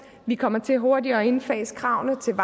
vi kommer til hurtigere at indfase kravene til